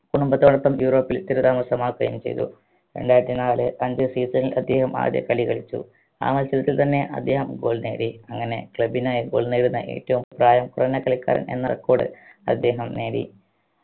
കുടുംബത്തോടപ്പം യൂറോപ്പിൽ സ്ഥിരതാമസം ആക്കുകയും ചെയ്തു രണ്ടായിരത്തി നാല് അഞ്ചു season ണിൽ അദ്ദേഹം ആദ്യ കളി കളിച്ചു ആ മത്സരത്തിൽ തന്നെ അദ്ദേഹം goal നേടി അങ്ങനെ club നായി goal നേടുന്ന ഏറ്റവും പ്രായം കുറഞ്ഞ കളിക്കാരൻ എന്ന record അദ്ദേഹം നേടി